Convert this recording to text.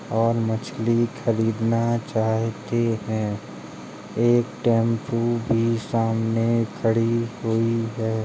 और मछली खरीदना चाहते हैं। एक टेम्पो भी सामने खड़ी हुई है।